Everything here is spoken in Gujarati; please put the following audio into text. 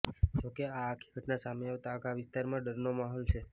જોકે આ આખી ઘટના સામે આવતા આખા વિસ્તારમાં ડરનો માહોલ છે